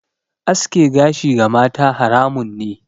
Aske gashi ga mata haramun ne.